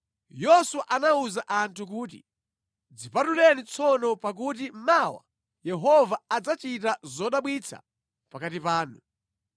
Yoswa anawuza anthu kuti, “Dzipatuleni tsono pakuti mawa Yehova adzachita zodabwitsa pakati panu.”